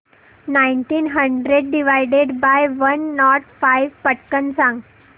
nineteen hundred divided by one nought five पटकन सांग